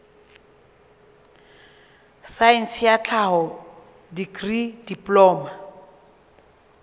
saense ya tlhaho dikri diploma